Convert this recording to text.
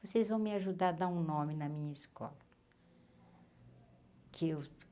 Vocês vão me ajudar a dar um nome na minha escola.